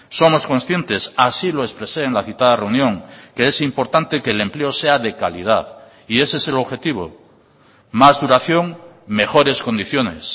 somos conscientes así lo expresé en la citada reunión que es importante que el empleo sea de calidad y ese es el objetivo más duración mejores condiciones